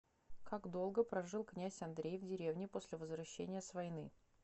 как долго прожил князь андрей в деревне после возвращения с войны